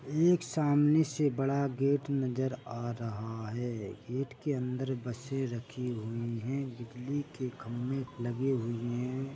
एक सामने से बड़ा गेट नजर आ रहा है गेट के अंदर बसे रखी हुईं हैं बिजली के खंबे लगे हुए हैं।